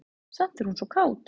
Samt er hún svo kát.